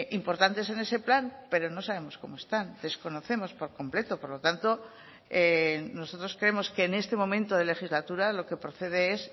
importantes en ese plan pero no sabemos cómo están desconocemos por completo por lo tanto nosotros creemos que en este momento de legislatura lo que procede es